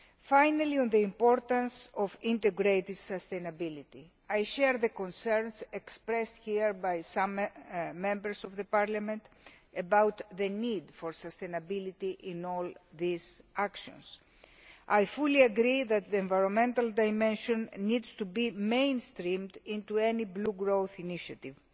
Finally, on the importance of integrated sustainability, I share the concerns expressed here by some Members about the need for sustainability in all these actions. I fully agree that the environmental dimension needs to be mainstreamed into any blue growth initiative.